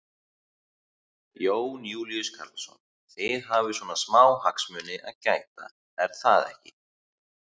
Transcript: Jón Júlíus Karlsson: Þið hafið svona smá hagsmuni að gæta er það ekki?